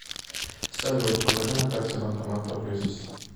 салют покажи на карте банкомат поблизости